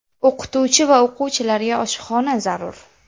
O‘qituvchi va o‘quvchilarga oshxona zarur.